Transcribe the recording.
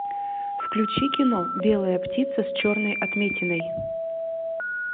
включи кино белая птица с черной отметиной